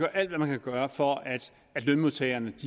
alt hvad man kan gøre for at lønmodtagerne